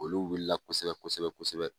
Olu wuli la kosɛbɛ kosɛbɛ kosɛbɛ.